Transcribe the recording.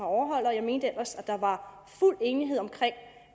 overholde og jeg mente ellers at der var fuld enighed om